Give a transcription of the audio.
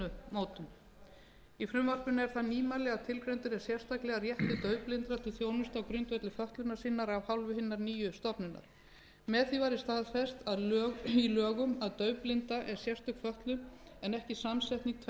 stefnumótun í frumvarpinu er það nýmæli að tilgreindur er sérstaklega réttur daufblindra til þjónustu á grundvelli fötlunar sinnar af hálfu hinnar nýju stofnunar með því væri staðfest í lögum að daufblinda er sérstök fötlun en ekki samsetning tvenns konar fötlunar það er sjón